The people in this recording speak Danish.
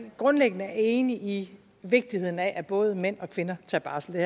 grundlæggende er enig i vigtigheden af at både mænd og kvinder tager barsel det